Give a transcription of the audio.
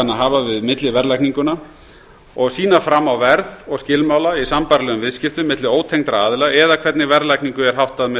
hafa við milliverðlagninguna og sýna fram á verð og skilmála í sambærilegum viðskiptum milli ótengdra aðila eða hvernig verðlagningu er háttað með